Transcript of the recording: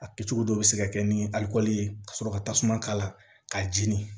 A kɛcogo dɔw bɛ se ka kɛ ni alikɔli ye ka sɔrɔ ka tasuma k'a la ka jeni